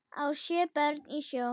á sjö börn í sjó